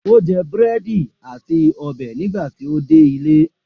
O jẹ búrẹ́dì àti ọbẹ̀ nígbà tí ó dé ilé.